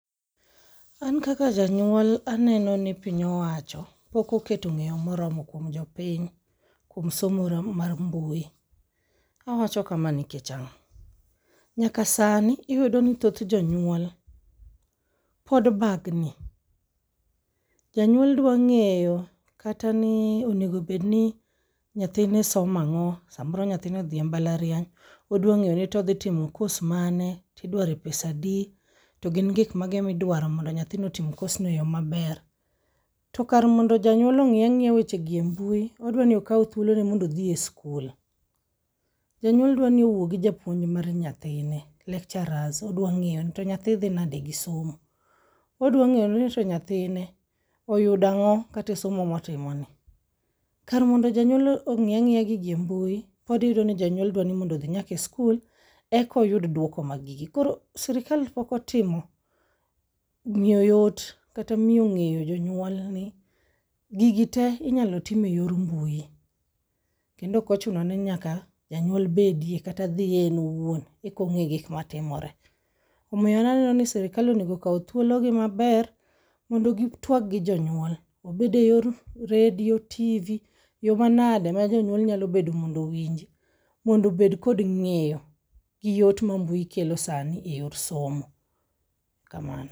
An kaka janyuol aneno ni piny owacho pokoketo ng'eyo moromo kuom jopiny, kuom somo mar mbui. Awacho kama nikech ang'o? Nyaka sani iyudo ni thoth jonyuol pod bagni, janyuol dwa ng'eyo kata ni onegobedni nyathine somang'o. Samoro nyathine odhi e mbalariany, odwa ng'eyo ni todhi timo kos mane, didware pesa di? To gin gik mage midwaro mondo nyathino otim kosno e yo maber? To kar mondo janyuol ong'i ang'iya wechegi e mbui, odwani okaw thuolone mondo odhie skul. Janyuol dwani owuo gi japuonj mar nyathine, lecturers odwa ng'eyo ni to nyathi dhi nade gi somo. Odwa ng'eyo ni to nyathine oyudang'o katesomo motimoni. Kar mondo jonyuol ong'i ang'iya gigi e mbui, pod iyudo ni jonyuol dwani mondo odhi nyake skul ekoyud dwoko mag gigi. Koro sirikal pokotimo miyo yot kata miyo ng'eyo jonyuol ni gigi te inyalo time yor mbui. Kendo okochuno ni nyaka janyuol bedie kata dhiye en owuon ekong'e gik matimore. Omiyo an aneno ni sirikal onego okaw thuolo gi maber mondo gi twag gi jonyuol. Obed e yor redio, TV, yo manade ma jonyuol nyalo bedo mondo owinji mondo obed kod ng'eyo gi yot ma mbui kelo sani e yor someo. Kamano.